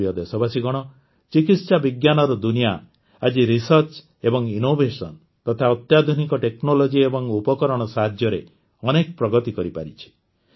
ମୋର ପ୍ରିୟ ଦେଶବାସୀଗଣ ଚିକିତ୍ସାବିଜ୍ଞାନର ଦୁନିଆ ଆଜି ରିସର୍ଚ୍ଚ ଏବଂ ଇନୋଭେସନ ତଥା ଅତ୍ୟାଧୁନିକ ଟେକ୍ନୋଲୋଜି ଏବଂ ଉପକରଣ ସାହାଯ୍ୟରେ ଅନେକ ପ୍ରଗତି କରିପାରିଛି